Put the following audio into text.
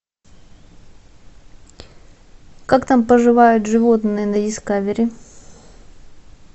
как там поживают животные на дискавери